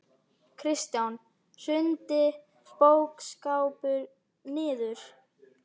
Kristján: Hrundi bókaskápur niður?